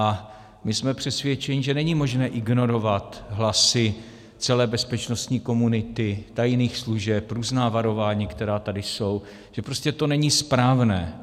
A my jsme přesvědčeni, že není možné ignorovat hlasy celé bezpečnostní komunity, tajných služeb, různá varování, která tady jsou, že prostě to není správné.